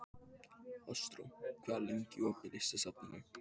Ástrós, hvað er lengi opið í Listasafninu?